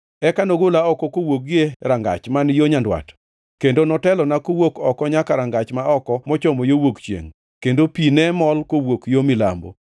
Eka nogola oko kawuok gie rangach man yo nyandwat kendo notelona kawuok oko nyaka rangach ma oko mochomo yo wuok chiengʼ, kendo pi ne mol kawuok yo milambo.